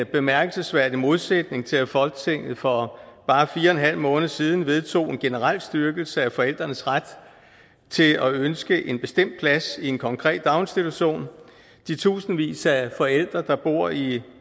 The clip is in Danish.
bemærkelsesværdig modsætning til at folketinget for bare fire en halv måned siden vedtog en generel styrkelse af forældrenes ret til at ønske en bestemt plads i en konkret daginstitution de tusindvis af forældre der bor i